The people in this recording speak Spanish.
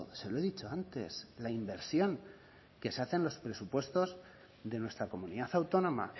se lo he dicho antes la inversión que se hace en los presupuestos de nuestra comunidad autónoma